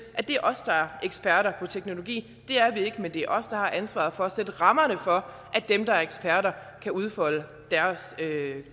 at det er os der er eksperter på teknologi det er vi ikke men det er os der har ansvaret for at sætte rammerne for at dem der er eksperter kan udfolde deres